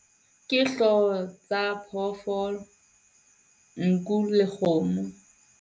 Ke hloho tsa phoofolo, nku le kgomo.